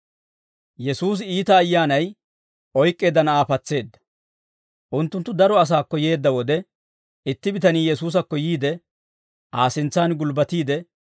Unttunttu daro asaakko yeedda wode, itti bitanii Yesuusakko yiide, Aa sintsaan gulbbatiide,